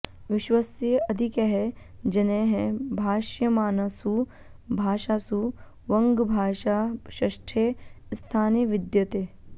विश्वस्य अधिकैः जनैः भाष्यमाणासु भाषासु वङ्गभाषा षष्ठे स्थाने विद्यते